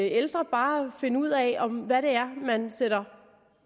ældre bare finde ud af hvad det er man sætter